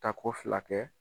Tako fila kɛ.